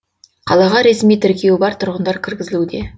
қалаға ресми тіркеуі бар тұрғындар кіргізілуде